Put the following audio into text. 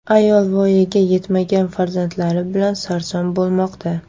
Ayol voyaga yetmagan farzandlari bilan sarson bo‘lmoqda.